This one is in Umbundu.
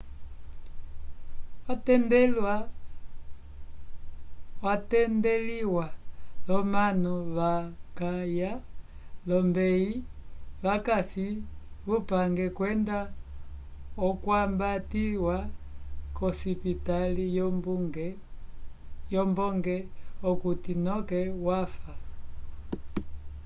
watendeliwa l'omanu vakaya olombeyi vakasi kupange kwenda okwambatiwa k'osipitali yombonge okuti noke wafa